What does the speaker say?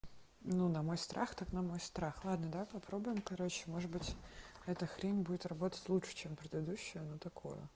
ну на мой страх так на мой страх ладно давай попробуем короче может быть это хрень будет работать лучше чем предыдущая но такое